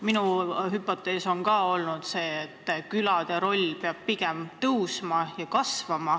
Minugi arvates peab külade roll suurenema.